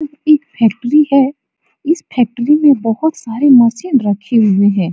एक फैक्ट्री है इस फैक्ट्री में बहुत सारी मशीन रखी हुए हैं।